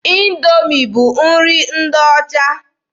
Indoomi bụ nri ndị ọcha.